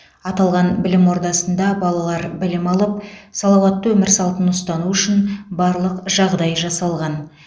аталған білім ордасында балалар білім алып салауатты өмір салтын ұстану үшін барлық жағдай жасалған